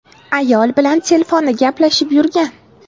Ayol bilan telefonda gaplashib yurgan.